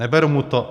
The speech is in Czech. Neberu mu to.